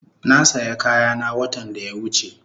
Na saya kayana watan da ya wuche